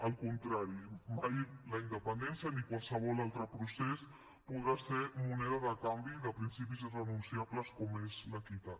al contrari mai la independència ni qualsevol altre procés podrà ser moneda de canvi de principis irrenunciables com és l’equitat